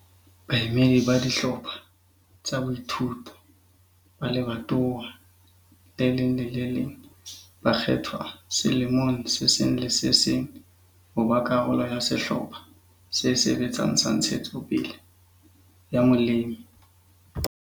Baemedi ba dihlopha tsa boithuto ba lebatowa le leng le le leng ba kgethwa selemong se seng le se seng ho ba karolo ya Sehlopha se Sebetsang sa Ntshetsopele ya Molemi.